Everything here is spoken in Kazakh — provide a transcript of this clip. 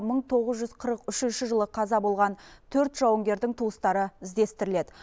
мың тоғыз жүз қырық үшінші жылы қаза болған төрт жауынгердің туыстары іздестіріледі